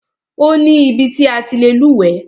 Ó ní ibi ti a ti lè lúwẹ̀ẹ́.